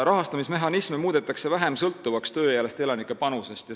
Rahastamismehhanisme muudetakse vähem sõltuvaks tööealiste elanike panusest.